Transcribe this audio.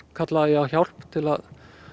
kallaði ég á hjálp til að